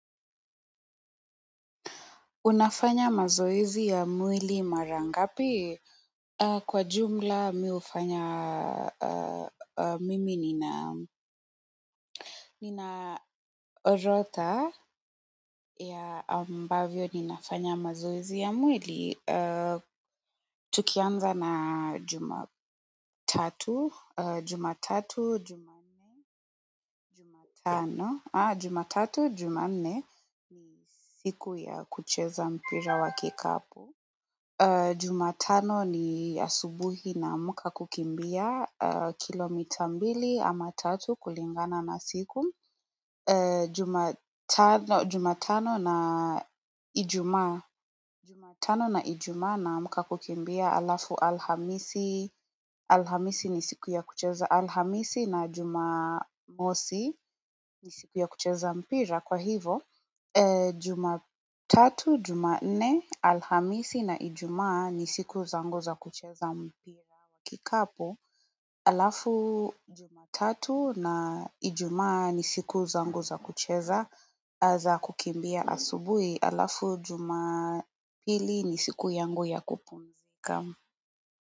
Unafanya mazoezi ya mwili mara ngapi? Kwa jumla mimi hufanya mimi nina orodha ya ambavyo ninafanya mazoezi ya mwili. Tukianza na jumatatu, jumatatu, jumatano. Jumatatu, jumanne siku ya kucheza mpira wa kikapu. Jumatano ni asubuhi naamka kukimbia kilo mita mbili ama tatu kulingana na siku Jumatano na ijumaa namka kukimbia alafu alhamisi Alhamisi ni siku ya kucheza alhamisi na jumamosi ni siku ya kucheza mpira kwa hivo Jumatatu, jumanne, alhamisi na ijumaa ni siku zangu za kucheza mpira wa kikapu Alafu jumatatu na ijumaa ni siku zangu za kucheza za kukimbia asubuhi Alafu jumapili ni siku yangu ya kupumzika.